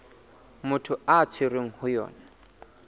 motho a tshwerweng ho yona